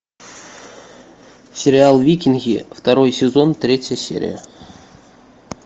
сериал викинги второй сезон третья серия